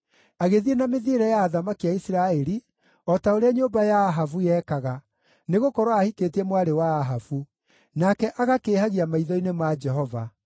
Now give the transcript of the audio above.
Agĩthiĩ na mĩthiĩre ya athamaki a Isiraeli, o ta ũrĩa nyũmba ya Ahabu yekaga, nĩgũkorwo aahikĩtie mwarĩ wa Ahabu. Nake agakĩĩhagia maitho-inĩ ma Jehova.